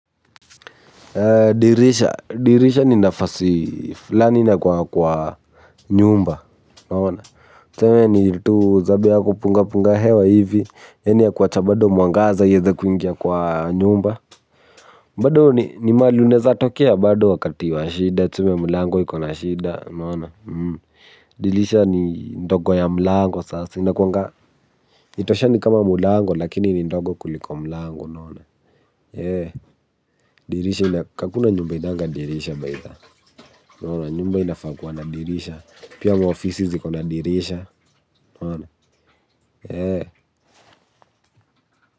Dirisha. Dirisha ni nafasi fulani na kwa nyumba unaona. Tuseme ni tu zabe ya kupunga punga hewa hivi. Yaani ya kuwacha bado mwangaza ieze kuingia kwa nyumba. Bado ni mahali unaezatokea bado wakati wa shida. Tuseme mlango ikona shida unaona. Dirisha ni ndogo ya mlango sasa. Haitoshani kama mlango lakini ni ndogo kuliko mlango unaona. Dirisha, hakuna nyumba ihainanga dirisha baitha unaona, nyumba inafaa kuwa na dirisha pia maofisi ziko na dirisha.